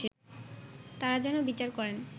তারা যেন বিচার করেন